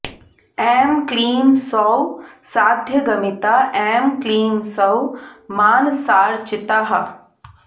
ऐं क्लीं सौः साध्यगमिता ऐं क्लीं सौः मानसार्चिता